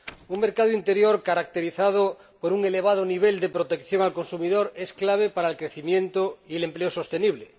Un mercado interior caracterizado por un elevado nivel de protección del consumidor es clave para el crecimiento y el empleo sostenible.